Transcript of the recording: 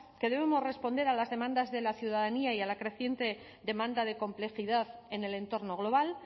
que debemos responder a las demandas de la ciudadanía y a la creciente demanda de complejidad en el entorno global